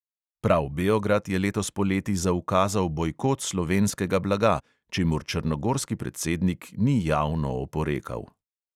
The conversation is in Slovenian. Prav beograd je letos poleti zaukazal bojkot slovenskega blaga, čemur črnogorski predsednik ni javno oporekal.